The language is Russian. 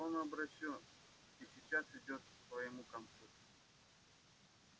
он обречён и сейчас идёт к своему концу